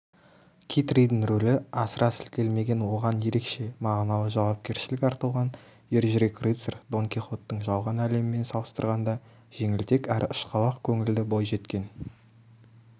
китридің рөлі асыра сілтелмеген оған ерекше мағыналы жауапкершілік артылған ержүрек рыцарь дон кихоттың жалған әлемімен салыстырғанда жеңілтек әрі ұшқалақ көңілді бойжеткен